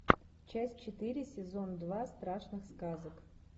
часть четыре сезон два страшных сказок